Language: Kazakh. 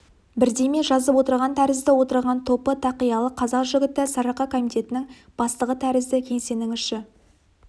бірдеме жазып отырған тәрізді отырған топы тақиялы қазақ жігіті сарыарқа комитетінің бастығы тәрізді кеңсенің іші